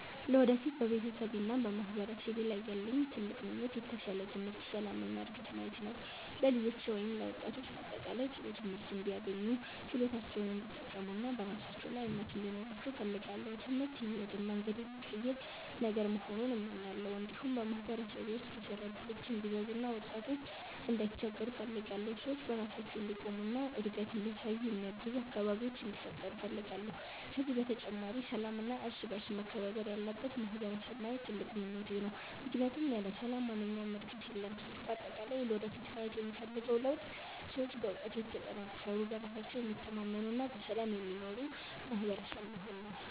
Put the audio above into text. ለወደፊት በቤተሰቤና በማህበረሰቤ ላይ ያለኝ ትልቅ ምኞት የተሻለ ትምህርት፣ ሰላም እና ዕድገት ማየት ነው። ለልጆቼ ወይም ለወጣቶች በአጠቃላይ ጥሩ ትምህርት እንዲያገኙ፣ ችሎታቸውን እንዲጠቀሙ እና በራሳቸው ላይ እምነት እንዲኖራቸው እፈልጋለሁ። ትምህርት የሕይወትን መንገድ የሚቀይር ነገር መሆኑን እመኛለሁ። እንዲሁም በማህበረሰቤ ውስጥ የሥራ እድሎች እንዲበዙ እና ወጣቶች እንዳይቸገሩ እፈልጋለሁ። ሰዎች በራሳቸው እንዲቆሙ እና እድገት እንዲያሳዩ የሚያግዙ አካባቢዎች እንዲፈጠሩ እፈልጋለሁ። ከዚህ በተጨማሪ ሰላምና እርስ በእርስ መከባበር ያለበት ማህበረሰብ ማየት ትልቁ ምኞቴ ነው፣ ምክንያቱም ያለ ሰላም ማንኛውም ዕድገት የለም። በአጠቃላይ ለወደፊት ማየት የምፈልገው ለውጥ ሰዎች በእውቀት የተጠናከሩ፣ በራሳቸው የሚታመኑ እና በሰላም የሚኖሩ ማህበረሰብ መሆን ነው።